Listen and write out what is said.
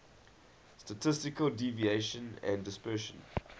statistical deviation and dispersion